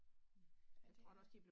Ja, det er